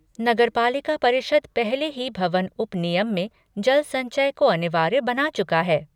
नगरपालिका परिषद पहले ही भवन उप नियम में जल संचय को अनिवार्य बना चुका है।